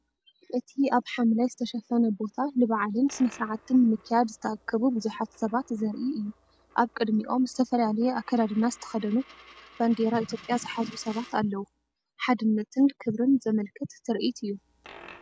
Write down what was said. እቲ ኣብ ሓምላይ ዝተሸፈነ ቦታ ንበዓልን ስነ-ስርዓትን ንምክያድ ዝተኣከቡ ብዙሓት ሰባት ዘርኢ እዩ። ኣብ ቅድሚኦም ዝተፈላለየ ኣከዳድና ዝተኸድኑ፣ ባንዴራ ኢትዮጵያ ዝሓዙ ሰባትኣለው። ሓድነትን ክብርን ዘመልክት ትርኢት እዩ።